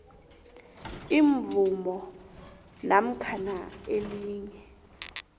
imvumo namkha elinye